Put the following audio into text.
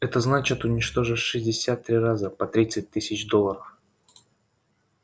это значит уничтожить шестьдесят три раза по тридцать тысяч долларов